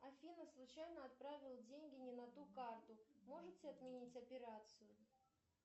афина случайно отправила деньги не на ту карту можете отменить операцию